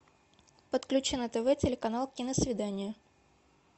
подключи на тв телеканал киносвидание